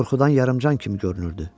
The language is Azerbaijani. O qorxudan yarıcan kimi görünürdü.